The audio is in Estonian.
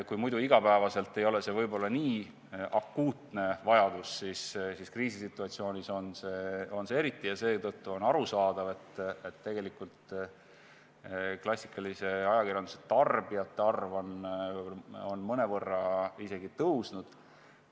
Kui muidu iga päev ei ole see võib-olla nii akuutne vajadus, siis kriisisituatsioonis on see seda eriti, ja seetõttu on arusaadav, et klassikalise ajakirjanduse tarbijate arv on mõnevõrra isegi tõusnud.